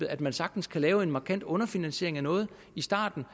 at man sagtens kan lave en markant underfinansiering af noget i starten